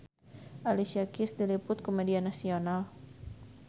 Alicia Keys diliput ku media nasional